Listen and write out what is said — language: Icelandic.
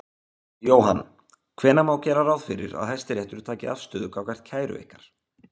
Jóhann: Hvenær má gera ráð fyrir því að Hæstiréttur taki afstöðu gagnvart kæru ykkar?